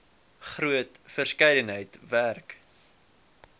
groot verskeidenheid werk